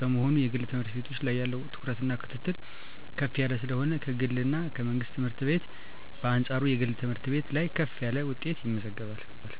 በመሆኑና የግል ትምህርት ቤት ያለው ትኩረትና ክትትል ከፍ ያለ ስለሆነ ከግልና ከመንግስት ትምህርት ቤት በአንጻሩ የግል ትምህርት ቤት ላይ ከፍ ያለ ውጤት ይመዘገባል።